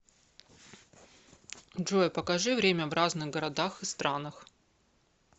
джой покажи время в разных городах и странах